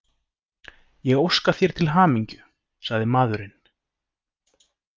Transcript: Ég óska þér til hamingju, sagði maðurinn.